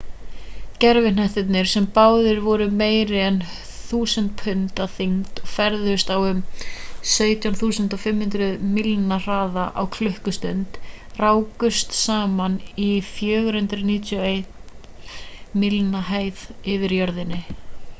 gervihnettirnir sem báðir voru meira en 1.000 pund að þyngd og ferðuðust á um 17.500 mílna hraða á klukkustund rákust saman í 491 mílna hæð yfir jörðinni